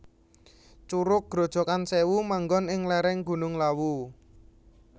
Curug Grojogan Sèwu manggon ing lèrèng Gunung Lawu